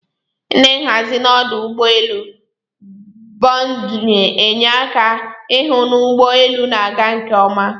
Ndi nhazi n'ọdụ ụgbọ elu bundin'enye aka ihụ n'ụgbọ elu na aga nke oma.